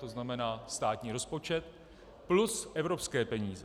To znamená státní rozpočet plus evropské peníze.